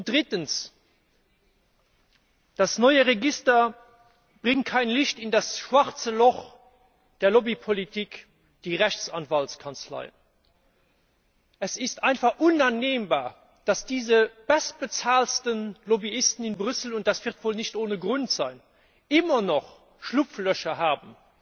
Drittens Das neue Register bringt kein Licht in das schwarze Loch der Lobbypolitik die Rechtsanwaltskanzleien. Es ist einfach nicht hinnehmbar, dass diese bestbezahlten Lobbyisten in Brüssel und das wird wohl nicht ohne Grund sein immer noch Schlupflöcher haben.